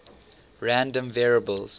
random variables